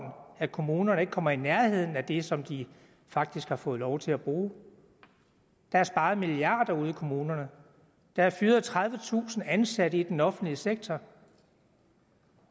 at kommunerne ikke kommer i nærheden af det som de faktisk får lov til at bruge der er sparet milliarder af kroner ude i kommunerne der er fyret tredivetusind ansatte i den offentlige sektor